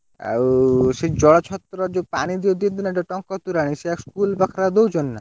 ଆଉ ସେ ଜଳଛତ୍ର ଯଉ ପାଣି ଦିଅନ୍ତି ନା ଯଉ ଟଙ୍କ ତୋରାଣି ସେ school ପାଖରେ ଦଉଛନ୍ତି ନା?